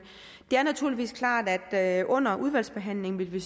det er naturligvis klart at vi under udvalgsbehandlingen vil